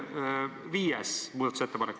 See on viies muudatusettepanek.